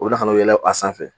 O la kan'o yɛlɛ a sanfɛ